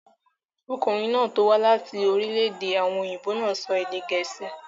Ọkùnrin tó wá láti orílẹ̀-èdè àwọn òyìnbó náà ń sọ èdè gẹ̀ẹ́sì.